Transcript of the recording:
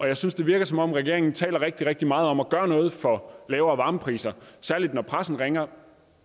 jeg synes det virker som om regeringen taler rigtig rigtig meget om at gøre noget for lavere varmepriser særlig når pressen ringer